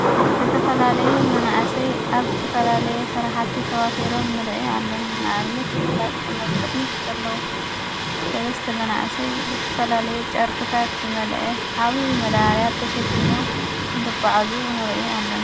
ዝተፈላለዩ መናእሰይ ኣብ ዝተፈላለየ ሠራሓቲ ተዋፊሮም ንርኢ ኣለና ናኣብነት ምግላፅ ቶም ቅድሚት ዘለዉ ሠለስቲ መናእሰይ ዘተፈላለየ ጨርቅታት ዘመልአ ዓዊዪ መዳበርያ ኣብ ተሸኪሞም እንትጕዓዙ ንርኢ ኣለና።